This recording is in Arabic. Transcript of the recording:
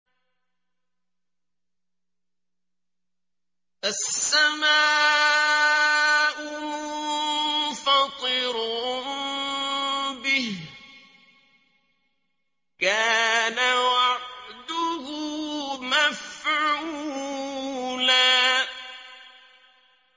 السَّمَاءُ مُنفَطِرٌ بِهِ ۚ كَانَ وَعْدُهُ مَفْعُولًا